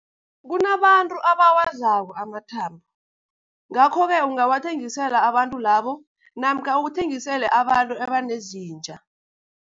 Kunabantu abawadlako amathambo, ngakho-ke ungawathengisela abantu labo namkha ukuthengisele abantu ebanezinja.